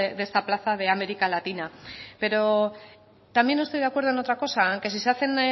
de esta plaza de américa latina pero también no estoy de acuerdo en otra cosa en que si se hacen